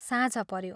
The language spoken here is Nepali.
साँझ पऱ्यो ।